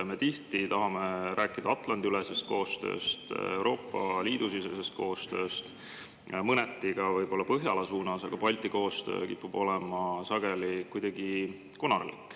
Me tihti tahame rääkida Atlandi-ülesest koostööst, Euroopa Liidu sisesest koostööst, mõneti ka võib-olla Põhjala suunas, aga Balti koostöö kipub olema sageli kuidagi konarlik.